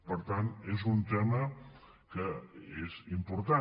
per tant és un tema que és important